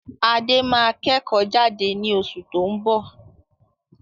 Adé máa kẹ́kò jade ni osù to n bọ̀